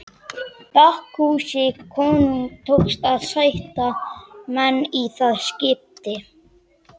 Bakkusi konungi tókst að sætta menn í það skiptið.